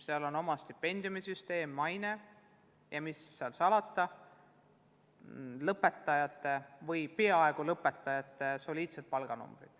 Sellel on oma stipendiumisüsteem, hea maine ja mis seal salata, lõpetanute ja peaaegu lõpetanute soliidsed palganumbrid.